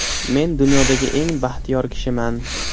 Men dunyodagi eng baxtiyor kishiman.